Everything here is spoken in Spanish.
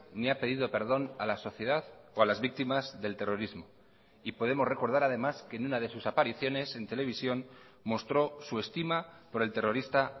ni ha pedido perdón a la sociedad o a las víctimas del terrorismo y podemos recordar además que en una de sus apariciones en televisión mostró su estima por el terrorista